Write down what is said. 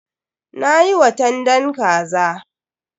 Na yi watandan kaza.